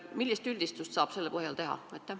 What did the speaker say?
Millise üldistuse saab selle tabeli põhjal teha?